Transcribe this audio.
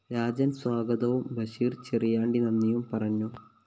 രാജന്‍ സ്വാഗതവും ബഷീര്‍ ചെറിയാണ്ടി നന്ദിയും പറഞ്ഞു